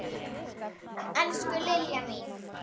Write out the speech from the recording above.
Elsku Liljan mín.